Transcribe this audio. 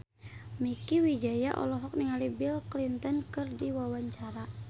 Mieke Wijaya olohok ningali Bill Clinton keur diwawancara